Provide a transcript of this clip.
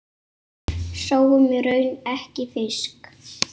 Sáum í raun ekki fisk.